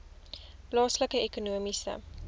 plaaslike ekonomiese